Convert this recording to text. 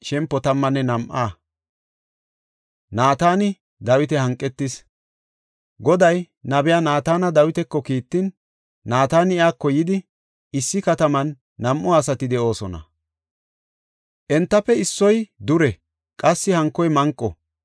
Goday nabiya Naatana Dawitako kiittin, Naatani iyako yidi, “Issi kataman nam7u asati de7oosona; entafe issoy dure; qassi hankoy manqo.